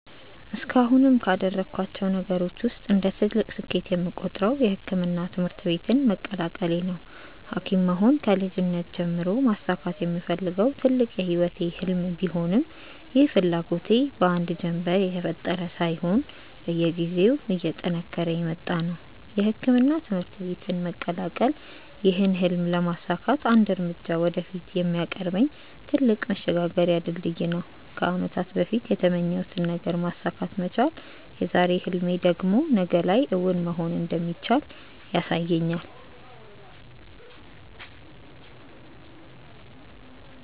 እስካሁንም ካደረኳቸው ነገሮች ውስጥ እንደ ትልቅ ስኬት የምቆጥረው የሕክምና ትምህርት ቤትን መቀላቀሌ ነው። ሀኪም መሆን ከልጅነቴ ጀምሮ ማሳካት የምፈልገው ትልቅ የህይወቴ ህልም ቢሆንም ይህ ፍላጎቴ በአንድ ጀንበር የተፈጠረ ሳይሆን በየጊዜው እየጠነከረ የመጣ ነው። የሕክምና ትምህርት ቤትን መቀላቀል ይህን ህልም ለማሳካት አንድ እርምጃ ወደፊት የሚያቀርበኝ ትልቅ መሸጋገሪያ ድልድይ ነው። ከአመታት በፊት የተመኘሁትን ነገር ማሳካት መቻል የዛሬ ህልሜ ደግሞ ነገ ላይ እውን መሆን እንደሚችል ያሳየኛል።